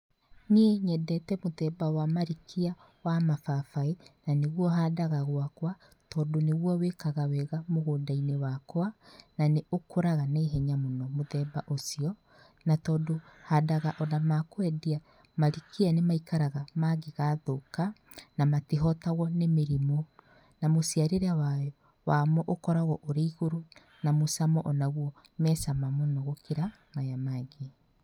Niĩ nyendete mũthemba wa marikia wa mababaĩ, na nĩguo handaga gwakwa tondũ nĩguo wĩkaga wega mũgũndainĩ wakwa na nĩũkũraga na ihenya mũno mũthemba ũcio. Na tondũ handaga ona ma kwendia, marikia nĩmaikaraga mangĩ gathũka, na matihotagwo nĩ mĩrimũ na mũciarĩre wamo ũkoragwo ũrĩ igũrũ na mũcamo ũnagwo me cama mũno gũkĩra maya mangĩ.